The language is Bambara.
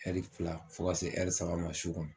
fila fo ka se saba ma su kɔnɔ.